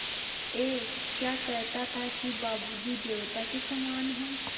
ऐं क्या कहता था कि बाबू जी देवता के समान हैं